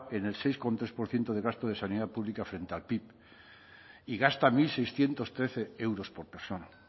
en el seis coma tres por ciento de gasto de sanidad pública frente al pib y gasta mil seiscientos trece euros por persona